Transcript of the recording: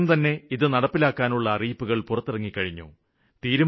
ഇതിനകംതന്നെ ഇത് നടപ്പിലാക്കുവാനുള്ള അറിയിപ്പുകള് പുറത്തിറങ്ങിക്കഴിഞ്ഞു